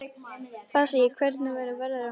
Bassí, hvernig er veðrið á morgun?